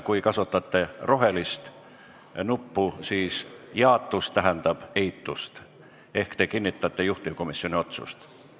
Kui kasutate rohelist nuppu, siis jaatus tähendab eitust ehk te kinnitate juhtivkomisjoni otsust.